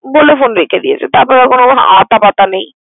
বলে ফোন রেখে দিয়েছে। তারপর আর কোন আতাপাতা নেই।